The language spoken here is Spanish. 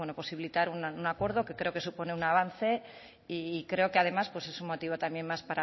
posibilitar un acuerdo que creo que supone un avance y creo que además es un motivo también más